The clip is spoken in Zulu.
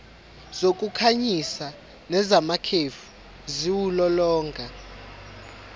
zokukhanyisa nezamakhefu ziwulolonga